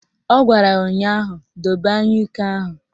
Ọ gwara ya ụnyaahụ "Dobe anyụike ahụ"!